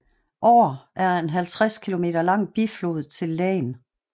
Aar er en 50 km lang biflod til Lahn